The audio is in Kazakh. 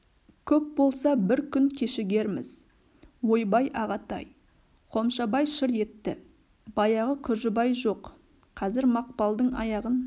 көп болса бір күн кешігерміз ойбай ағатай қомшабай шыр етті баяғы күржібай жоқ қазір мақпалдың аяғын